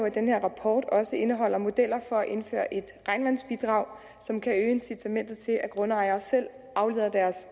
at den her rapport også indeholder modeller for at indføre et regnvandsbidrag som kan øge incitamentet til at grundejere selv afleder deres